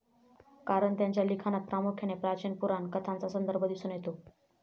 कारण त्यांच्या लिखाणात प्रामुख्याने प्राचीन पुराण कथांचा संदर्भ दिसून येतो.